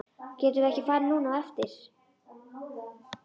Getum við ekki farið núna á eftir?